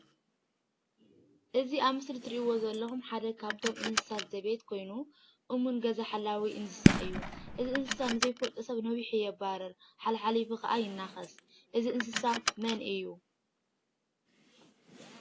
እዚ ኣብዚ ምስሊ እትሪእዎ ዘለኹም ሓደ ካብቶም እንስሳ ዘቤት ኮይኑ እሙን ገዛ ሓላዊ እንስሳ እዩ ።እዚ እንስሳ ንዘይፍልጦ ሰብ ነቢሑ የባርር፣ ሓላሓሊፉ ከዓ ይናከስ። እዚ እንስሳ መን እዩ ?